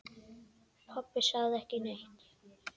Pabbi sagði ekki neitt.